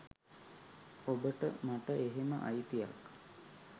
ඔබට මට එහෙම අයිතියක්